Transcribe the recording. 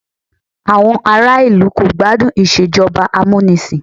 Àwọn ará ìlú kò gbádùn Ìṣèjọba amúnisìn